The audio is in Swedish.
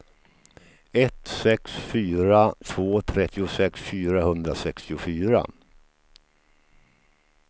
ett sex fyra två trettiosex fyrahundrasextiofyra